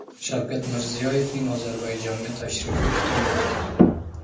Shavkat Mirziyoyevning Ozarbayjonga tashrifi kutilmoqda.